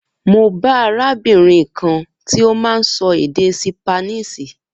Mo bá arábìnrin kan tí ó má n sọ èdè ṣípánísì